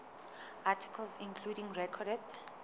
articles including recorded